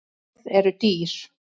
Orð eru dýr